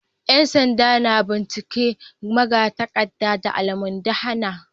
‘Yan sanda na binciken magatakardar da almundahana